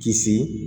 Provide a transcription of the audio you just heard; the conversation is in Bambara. Kisi